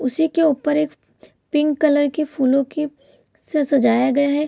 उसी के ऊपर एक पिंक कलर की फूलो की से सजाया गया है।